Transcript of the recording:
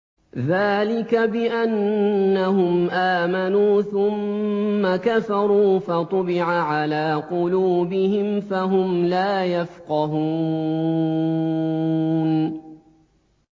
ذَٰلِكَ بِأَنَّهُمْ آمَنُوا ثُمَّ كَفَرُوا فَطُبِعَ عَلَىٰ قُلُوبِهِمْ فَهُمْ لَا يَفْقَهُونَ